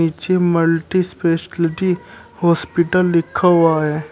पीछे multispeciality hospital लिखा हुआ है।